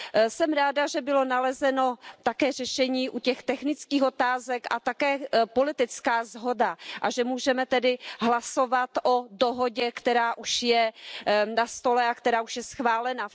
Jsem ráda, že bylo nalezeno také řešení u těch technických otázek a také politická shoda a že můžeme tedy hlasovat o dohodě, která už je na stole a která už je schválena.